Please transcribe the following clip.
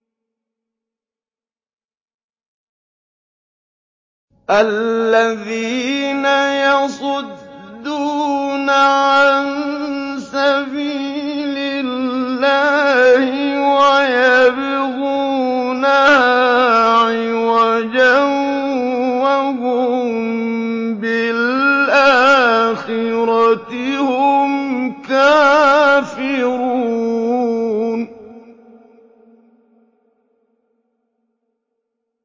الَّذِينَ يَصُدُّونَ عَن سَبِيلِ اللَّهِ وَيَبْغُونَهَا عِوَجًا وَهُم بِالْآخِرَةِ هُمْ كَافِرُونَ